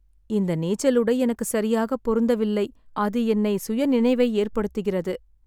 இந்த நீச்சலுடை எனக்கு சரியாக பொருந்தவில்லை, அது என்னை சுயநினைவை ஏற்படுத்துகிறது.